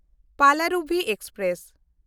Palaruvi express